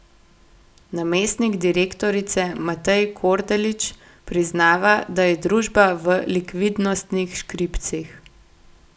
Namestnik direktorice Matej Kordelič priznava, da je družba v likvidnostnih škripcih.